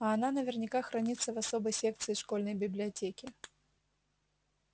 а она наверняка хранится в особой секции школьной библиотеки